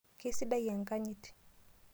Kesidai enkanyit.